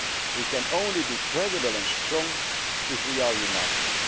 spirit. We can only be credible and strong if we are